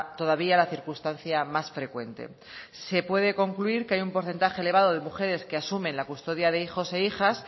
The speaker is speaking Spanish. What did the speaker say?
todavía la circunstancia más frecuente se puede concluir que hay un porcentaje elevado de mujeres que asumen la custodia de hijos e hijas